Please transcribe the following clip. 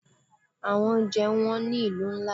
Àwọn oúnjẹ wón ní ìlú ńlá.